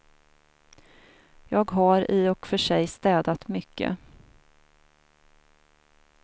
Jag har i och för sig städat mycket.